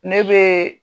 Ne bɛ